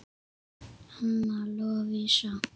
Anna Lovísa.